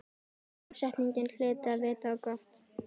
Dagsetningin hlyti að vita á gott.